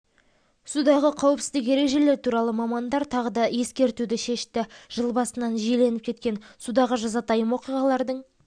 судағы қауіпсіздік ережелері туралы мамандар тағы да ескертуді шешті жыл басынан жиіленіп кеткен судағы жазатайым оқиғалардың